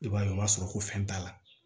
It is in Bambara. I b'a ye o b'a sɔrɔ ko fɛn t'a la